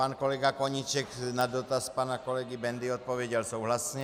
Pan kolega Koníček na dotaz pana kolegy Bendy odpověděl souhlasně.